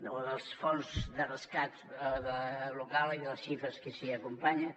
o dels fons de rescat local i de les xifres que s’hi acompanyen